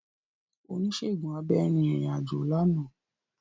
Onisegun abẹ rin irin-ajo làná.